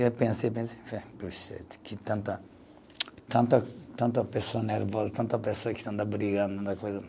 Eu pensei, pensei, que tanta, tanta tanta pessoa nervosa, tanta pessoa que só anda brigando